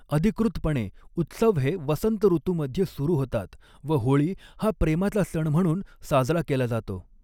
अधिकृतपणे उत्सव हे वसंत ऋतूमध्ये सुरू होतात व होळी हा प्रेमाचा सण म्हणून साजरा केला जातो.